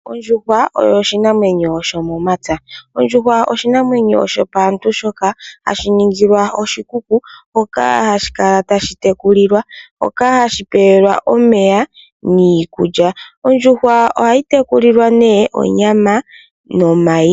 Ondjuhwa oyo oshinamwenyo sho momapya, ondjuhwa oshinamwenyo shopaantu shoka hashi ningilwa oshikuku, hoka hashi kala tadhi tekulilwa, hoka hashi pewelwa omeya, niikulya. Ondjuhwa oha yi te kulilwa nee onyama nomayi.